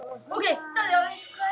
Þannig standa málin í dag.